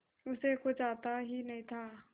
उसे कुछ आता ही नहीं था